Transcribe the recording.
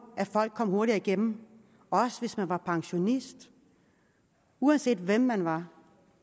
at folk kom hurtigere igennem også hvis man var pensionist uanset hvem man var